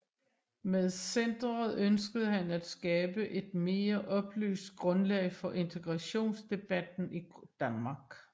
Med centeret ønskede han at skabe et mere oplyst grundlag for integrationsdebatten i Danmark